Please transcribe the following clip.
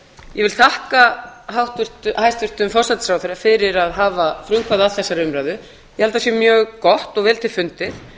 ég vil þakka hæstvirtum forsætisráðherra fyrir að hafa frumkvæði að þessari umræðu ég held að það sé mjög gott og vel til fundið